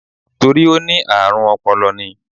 Torí ó ní àrùn ọpọlọ ni.